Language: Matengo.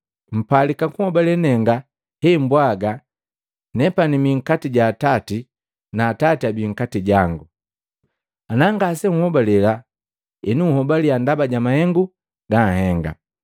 Mpalika kunhobale nenga hembwaga nepani mii nkati ja Atati na Atati abii nkati jangu. Ana ngasenhobale nhobalia ndaba ja mahengu ganihenga.